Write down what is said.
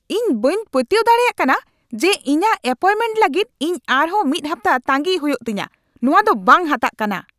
ᱤᱧ ᱵᱟᱹᱧ ᱯᱟᱹᱛᱭᱟᱹᱣ ᱫᱟᱲᱮᱭᱟᱜ ᱠᱟᱱᱟ ᱡᱮ ᱤᱧᱟᱜ ᱮᱯᱚᱭᱮᱱᱴᱢᱮᱱᱴ ᱞᱟᱹᱜᱤᱫ ᱤᱧ ᱟᱨᱦᱚᱸ ᱢᱤᱫ ᱦᱟᱯᱛᱟ ᱛᱟᱸᱜᱤᱭ ᱦᱩᱭᱩᱜ ᱛᱤᱧᱟ ᱾ ᱱᱚᱣᱟ ᱫᱚ ᱵᱟᱝ ᱦᱟᱛᱟᱜ ᱠᱟᱱᱟ ᱾